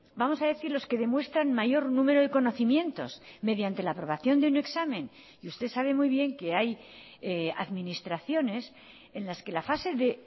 vamos a decir los que demuestran mayor número de conocimientos mediante la aprobación de un examen y usted sabe muy bien que hay administraciones en las que la fase de